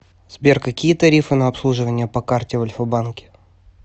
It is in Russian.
сбер какие тарифы на обслуживание по карте в альфа банке